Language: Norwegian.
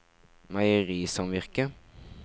meierisamvirket